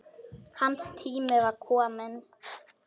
Hans tími var kominn.